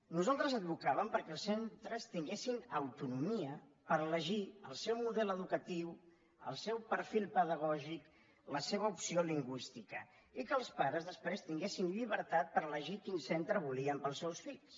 nosaltres advocàvem perquè els centres tinguessin autonomia per elegir el seu model educatiu el seu perfil pedagògic la seva opció lingüística i que els pares després tinguessin llibertat per elegir quins centres volien per als seus fills